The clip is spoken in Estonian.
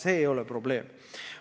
See ei ole probleem.